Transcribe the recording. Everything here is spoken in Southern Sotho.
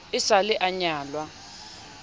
e sa le a nyalwa